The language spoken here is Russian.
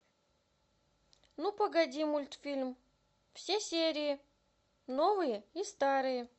ну погоди мультфильм все серии новые и старые